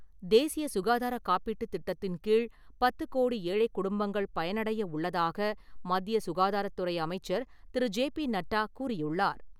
தேசிய சுகாதார காப்பீட்டு திட்டத்தின் கீழ் பத்து கோடி ஏழை குடும்பங்கள் பயனடைய உள்ளதாக மத்திய சுகாதாரத்துறை அமைச்சர் திரு. ஜே. பி. நட்டா கூறியுள்ளார்.